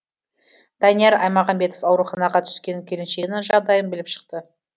данияр аймағанбетов ауруханаға түскен келіншегінің жағдайын біліп шықты